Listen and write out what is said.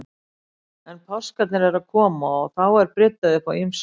En páskarnir eru að koma og þá er bryddað upp á ýmsu.